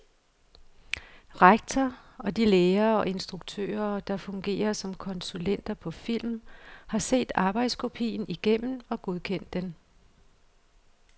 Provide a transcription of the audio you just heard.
Rektor og de lærere og instruktører, der fungerer som konsulenter på filmen, har set arbejdskopien igennem og godkendt den.